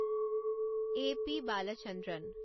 এই পি বালচন্দ্ৰন